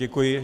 Děkuji.